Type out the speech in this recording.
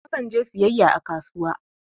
Akan je siyayya a kasuwa